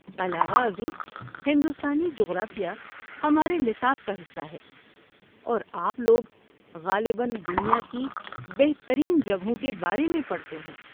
علاوہ ازیں، ہندوستانی جغرافیہ ہمارے نصاب کا حصہ ہے اور آپ لوگ غالباً دنیا کی بہترین جگہوں کے بارے میں پڑھتے ہیں!